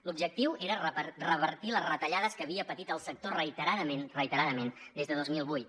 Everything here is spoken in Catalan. l’objectiu era revertir les retallades que havia patit el sector reiteradament reiteradament des de dos mil vuit